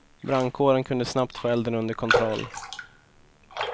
Brandkåren kunde snabbt få elden under kontroll.